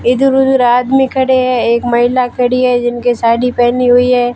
इधर उधर आदमी खड़े हैं एक महिला खड़ी है जिनके साड़ी पहनी हुई है।